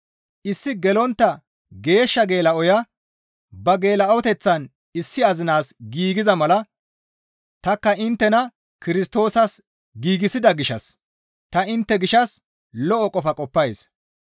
Issi gelontta geeshsha geela7oya ba geela7oteththan issi azinas giigiza mala tanikka inttena Kirstoosas giigsida gishshas ta intte gishshas lo7o qofa qoppays.